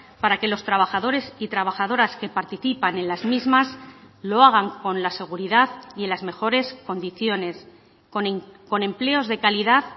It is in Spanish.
para que los trabajadores y trabajadoras que participan en las mismas lo hagan con la seguridad y en las mejores condiciones con empleos de calidad